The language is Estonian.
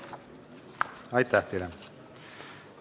Aitäh teile!